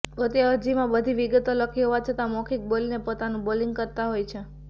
પોતે અરજીમાં બધી વિગતો લખી હોવા છતાં મૌખિક બોલીને પોતાનું લોબિંગ કરતા હોય છે